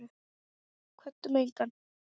Kvöddum engan.